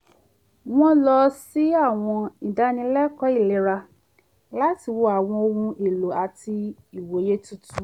wọ́n lọ sí àwọn ìdánilẹ́kọ̀ọ́ ìlera láti wo àwọn ọhun èlò àti ìwòye tuntun